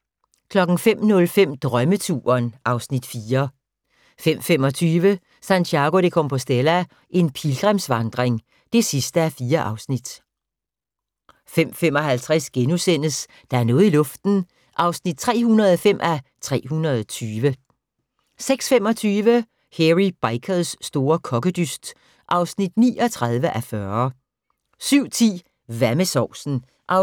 05:05: Drømmeturen (Afs. 4) 05:25: Santiago de Compostela – en pilgrimsvandring (4:4) 05:55: Der er noget i luften (305:320)* 06:25: Hairy Bikers store kokkedyst (39:40) 07:10: Hvad med sovsen? (7:8)